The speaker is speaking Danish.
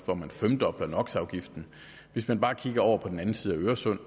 hvor man femdobler nox afgiften hvis man bare kigger over på den anden side af øresund